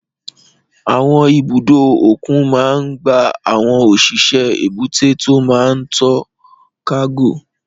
Àwọn ibùdó òkun máa n gba àwọn òṣìṣẹ́ èbúté tó máa n to kágò